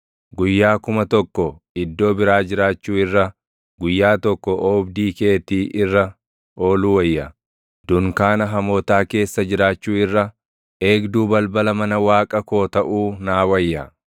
Guyyaa kuma tokko iddoo biraa jiraachuu irra, guyyaa tokko oobdii keetii irra ooluu wayya; dunkaana hamootaa keessa jiraachuu irra, eegduu balbala mana Waaqa koo taʼuu naa wayya.